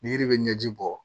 Ni yiri bɛ ɲɛji bɔ